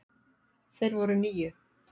Þeir voru níu.